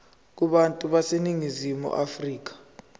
kubantu baseningizimu afrika